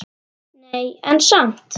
Nei, en samt.